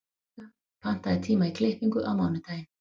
Malika, pantaðu tíma í klippingu á mánudaginn.